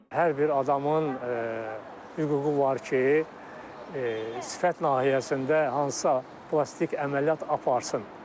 Hər bir adamın hüququ var ki, sifət nahiyəsində hansısa plastik əməliyyat aparsın.